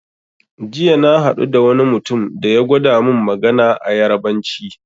Jiya na haɗu da wani mutum da ya gwada mun magana a yarabanci